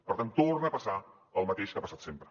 per tant torna a passar el mateix que ha passat sempre